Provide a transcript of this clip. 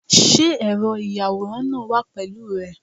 Sé ẹ̀rọ ìyàwòrán náà wà pẹ̀lú rẹ?